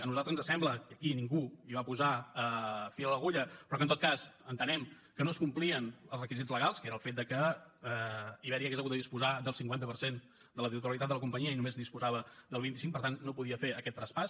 a nosaltres ens sembla que aquí ningú va posar fil a l’agulla però que en tot cas entenem que no es complien els requisits legals que era el fet que iberia hauria hagut de disposar del cinquanta per cent de la titularitat de la companyia i només en disposava del vint cinc per tant no podia fer aquest traspàs